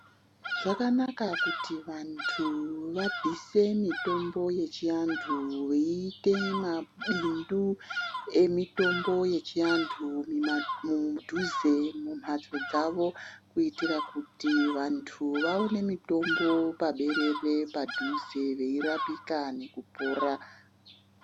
Zvakanaka kuti vantu vabvise mitombo yechiantu veiite mabindu emitombo yechiantu mudhuze mumhtso dzavo kuitira kuti vanhu vaone mitombo paberere padhuze veirapika nekupora.